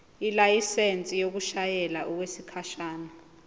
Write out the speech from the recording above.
ilayisensi yokushayela okwesikhashana